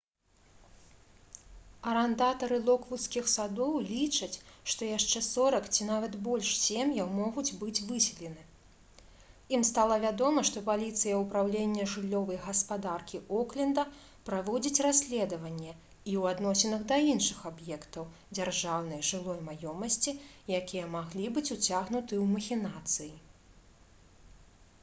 арандатары «локвудскіх садоў» лічаць што яшчэ 40 ці нават больш сем'яў могуць быць выселены. ім стала вядома што паліцыя упраўлення жыллёвай гаспадаркі окленда праводзіць расследаванне і ў адносінах да іншых аб'ектаў дзяржаўнай жылой маёмасці якія маглі быць уцягнуты ў махінацыі